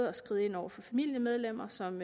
at skride ind over for familiemedlemmer som